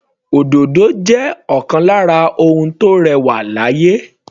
Òdòdó jẹ́ ọ̀kan lára àwọn ohun tó rẹwà láyé.